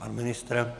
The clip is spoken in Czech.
Pan ministr?